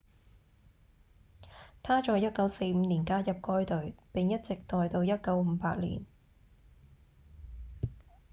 他在1945年加入該隊並一直待到1958年